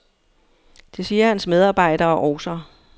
Det siger hans medarbejdere også.